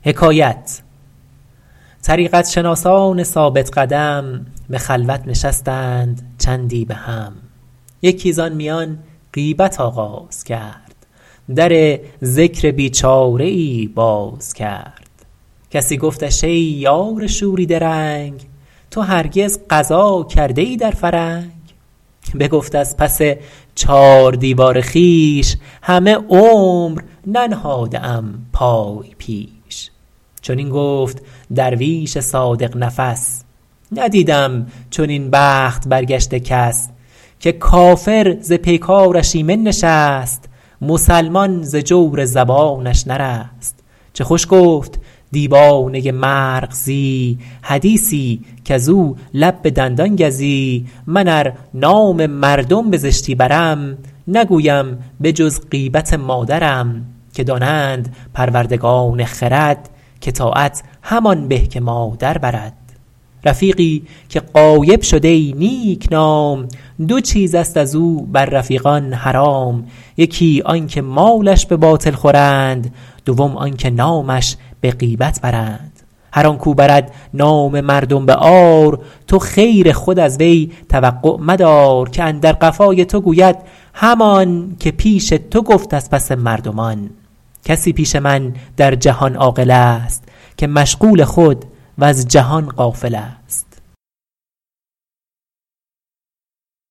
طریقت شناسان ثابت قدم به خلوت نشستند چندی به هم یکی زان میان غیبت آغاز کرد در ذکر بیچاره ای باز کرد کسی گفتش ای یار شوریده رنگ تو هرگز غزا کرده ای در فرنگ بگفت از پس چار دیوار خویش همه عمر ننهاده ام پای پیش چنین گفت درویش صادق نفس ندیدم چنین بخت برگشته کس که کافر ز پیکارش ایمن نشست مسلمان ز جور زبانش نرست چه خوش گفت دیوانه مرغزی حدیثی کز او لب به دندان گزی من ار نام مردم بزشتی برم نگویم به جز غیبت مادرم که دانند پروردگان خرد که طاعت همان به که مادر برد رفیقی که غایب شد ای نیک نام دو چیزست از او بر رفیقان حرام یکی آن که مالش به باطل خورند دوم آن که نامش به غیبت برند هر آن کو برد نام مردم به عار تو خیر خود از وی توقع مدار که اندر قفای تو گوید همان که پیش تو گفت از پس مردمان کسی پیش من در جهان عاقل است که مشغول خود وز جهان غافل است